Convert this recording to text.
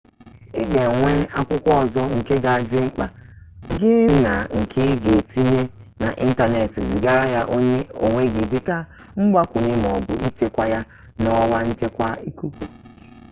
ị ga-enwe akwụkwọ ọzọ nke ga-adị n'akpa gị na nke ị ga-etinye n'ịntanetị zigara ya onwe gị dịka mgbakwunye maọbụ ịchekwaa ya na ọwa nchekwa ikuku"